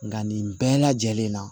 Nka nin bɛɛ lajɛlen na